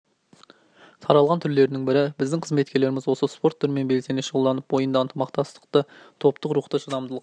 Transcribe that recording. таралған түрлерінің бірі біздің қызметкерлеріміз осы спорт түрімен белсене шұғылданып бойында ынтымақтастықты топтық рухты шыдамдылық